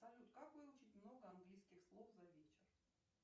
салют как выучить много английских слов за вечер